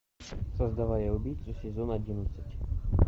создавая убийцу сезон одиннадцать